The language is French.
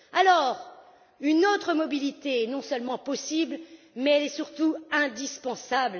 Alors, une autre mobilité est non seulement possible, mais elle est surtout indispensable.